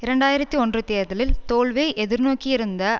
இரண்டு ஆயிரத்தி ஒன்று தேர்தலில் தோல்வியை எதிர் நோக்கியிருந்த